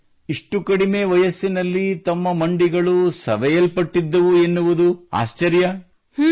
ಅರೇ ಇಷ್ಟು ಕಡಿಮೆ ವಯಸ್ಸಿನಲ್ಲಿ ತಮ್ಮ ಮಂಡಿಗಳು ಸವೆಲ್ಪಟ್ಟಿದ್ದವು ಎನ್ನುವುದು ಆಶ್ಚರ್ಯ